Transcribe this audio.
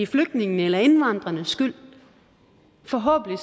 flygtningene eller indvandrernes skyld forhåbentlig